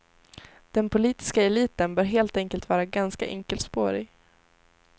Den politiska eliten bör helt enkelt vara ganska enkelspårig.